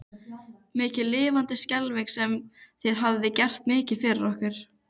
Mikið lifandis skelfing sem þér hafið gert mikið fyrir okkur.